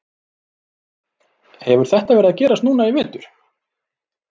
Hefur þetta verið að gerast núna í vetur?